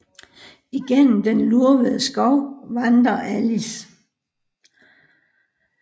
Igennem den lurvede skov vandrer Alice